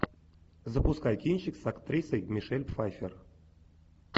запускай кинчик с актрисой мишель пфайффер